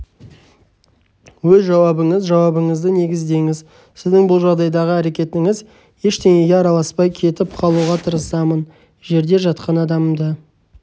өз жауабыңыз жауабыңызды негіздеңіз сіздің бұл жағдайдағы әрекетіңіз ештеңеге араласпай кетіп қалуға тырысамын жерде жатқан адамды